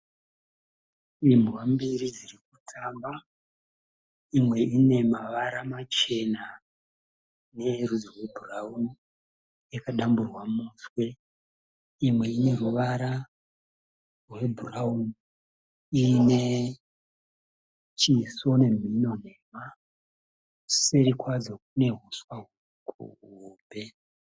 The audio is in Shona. Imbwa mbiri dzirikutamba. Imwe ine mavara machena neyerudzi rwebhurauni yakadamburwa muswe. Imwe ine ruvara rwe bhuraunini iine chiso nemhino nhema. Seri kwadzo kune huswa huhombe.